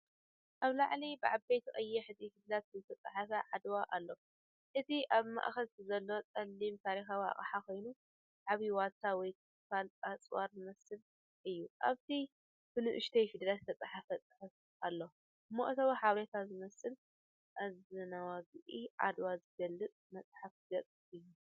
ኣብ ላዕሊ ብዓበይቲ ቀያሕቲ ፊደላት ዝተጻሕፈ ዓድዋ”ኣሎ። እቲ ኣብ ማእከል ዘሎ ጸሊም ታሪኻዊ ኣቕሓ ኮይኑ፡ ዓቢ ዋልታ ወይ ክፋል ኣጽዋር ዝመስል እዩ። ኣብ ታሕቲ ብንኣሽቱ ፊደላት ዝተጻሕፈ ጽሑፍ ኣሎ፣ መእተዊ ሓበሬታ ዝመስል። እዚንውግእ ዓድዋ ዝገልጽ መፅሓፍ ገፅ እዩ።